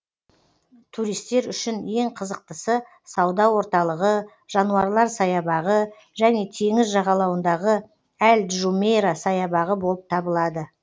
туристер үшін ең қызықтысы сауда орталығы жануарлар саябағы және теңіз жағалауындағы әл джумейра саябағы болып табылады